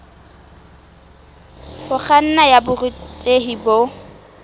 ho kganna ya borutehi bo